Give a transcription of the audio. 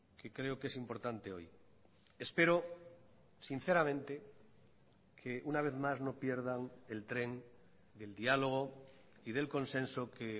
que creo que es importante hoy espero sinceramente que una vez más no pierdan el tren del diálogo y del consenso que